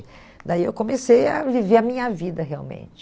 Daí eu comecei a viver a minha vida realmente.